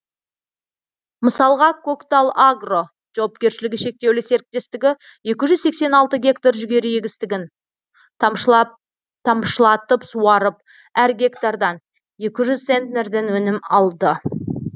мысалға көктал агро жауапкершілігі шектеулі серіктестігі екі жүз сексен алты гектар жүгері егістігін тамшылатып суарып әр гектардан екі жүз центнерден өнім алды